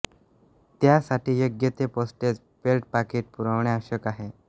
त्यासाठी योग्य ते पोस्टेज पेड पाकिट पुरवणे आवश्यक आहे